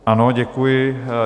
Ano, děkuji.